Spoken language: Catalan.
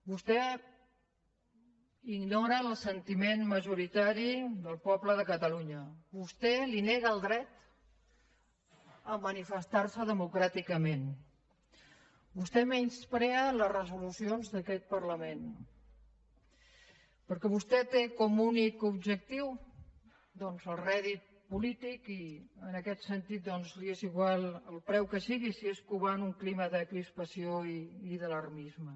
vostè ignora el sentiment majoritari del poble de catalunya vostè li nega el dret a manifestar se democràticament vostè menysprea les resolucions d’aquest parlament perquè vostè té com a únic objectiu el rèdit polític i en aquest sentit doncs li és igual al preu que sigui si és covant un clima de crispació i d’alarmisme